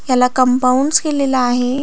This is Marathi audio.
याला कंपाऊंड्स केलेल आहे.